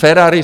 Ferrari.